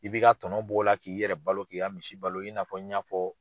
I b'i ka tɔnɔnɔ b'o la k'i yɛrɛ balo k'i ka misi balo i n'a n y'a fɔ